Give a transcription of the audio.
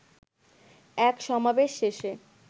এক সমাবেশ শেষে